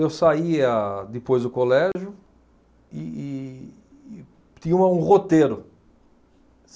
Eu saía depois do colégio e e tinha um roteiro.